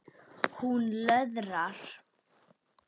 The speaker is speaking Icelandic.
Hún löðrar.